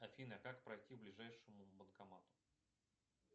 афина как пройти к ближайшему банкомату